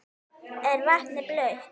Er vatnið blautt?